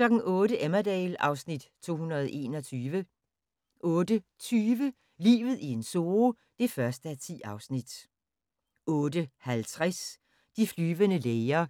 08:00: Emmerdale (Afs. 221) 08:20: Livet i en zoo (1:10) 08:50: De flyvende læger